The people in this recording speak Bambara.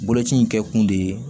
Boloci in kɛ kun de ye